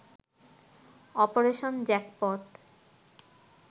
operation jackpot